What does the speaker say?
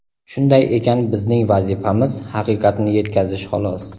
Shunday ekan bizning vazifamiz – haqiqatni yetkazish, xolos.